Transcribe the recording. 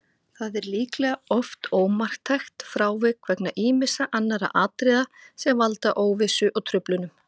Það er líklega oft ómarktækt frávik vegna ýmissa annarra atriða sem valda óvissu og truflunum.